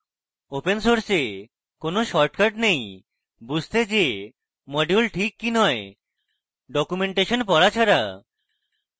open সোর্সে কোন shortcut নেই বুঝতে যে module ঠিক কি নয় ডকুমেন্টেশন পড়া ছাড়া